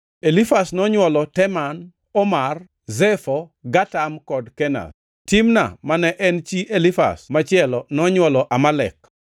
Elifaz nonywolo Teman, Omar, Zefo, Gatam kod Kenaz. Timna ma ne en chi Elifaz machielo nonywolo Amalek.